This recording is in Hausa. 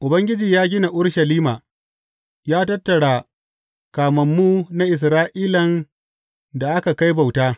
Ubangiji ya gina Urushalima; ya tattara kamammu na Isra’ilan da aka kai bauta.